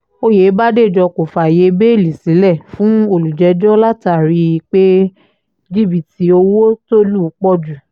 òyebàdéjọ́ kò fààyè bẹ́ẹ́lí sílẹ̀ fún olùjẹ́jọ́ látàrí pé jìbìtì owó tó lù pọ̀ jù